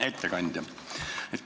Hea ettekandja!